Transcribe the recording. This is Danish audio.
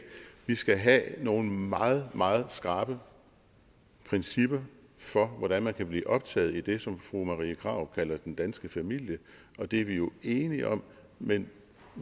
vi skal have nogle meget meget skrappe principper for hvordan man kan blive optaget i det som fru marie krarup kalder den danske familie og det er vi jo enige om men